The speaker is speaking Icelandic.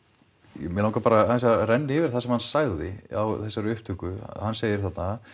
mig langar bara aðeins að renna yfir það sem hann sagði á upptökunni hann segir þarna